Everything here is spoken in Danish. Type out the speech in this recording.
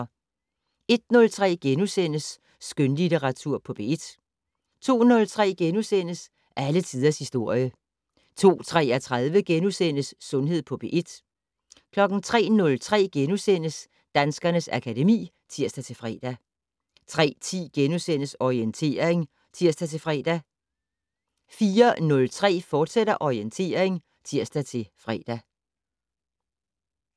01:03: Skønlitteratur på P1 * 02:03: Alle tiders historie * 02:33: Sundhed på P1 * 03:03: Danskernes akademi *(tir-fre) 03:10: Orientering *(tir-fre) 04:03: Orientering, fortsat (tir-fre)